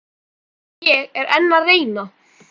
Ég er enn að reyna.